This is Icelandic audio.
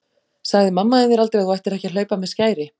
Sagði mamma þín þér aldrei að þú ættir ekki að hlaupa með skæri?